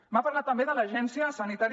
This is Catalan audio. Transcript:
m’ha parlat també de l’agència sanitària